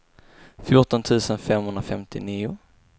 fjorton tusen femhundrafemtionio